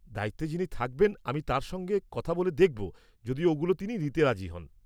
-দায়িত্বে যিনি থাকবেন আমি তাঁর সঙ্গে কথা বলে দেখব যদি ওগুলো তিনি নিতে রাজি হন।